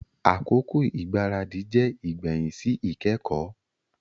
Akoko igbaradi jẹ igbẹhin si ikẹkọ.